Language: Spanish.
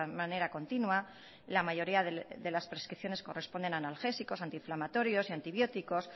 manera continua la mayoría de las prescripciones corresponden a analgésicos antiinflamatorios y antibióticos